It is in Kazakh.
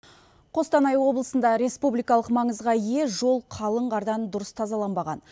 қостанай облысында республикалық маңызға ие жол қалың қардан дұрыс тазаланбаған